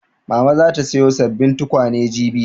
Mama za ta sayo sabbin tukwane jibi